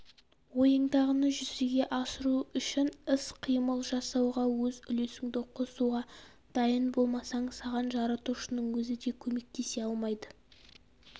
ойыңдағыны жүзеге асыру үшін іс қимыл жасауға өз үлесіңді қосуға дайын болмасаң саған жаратушының өзі де көмектесе алмайды